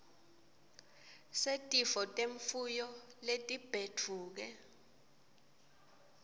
setifo temfuyo letibhedvuke